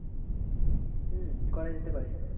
হম করা যেতে পারে।